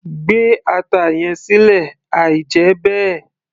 gbé ata yẹn sílẹ̀ àí jẹ́ bẹ́ẹ̀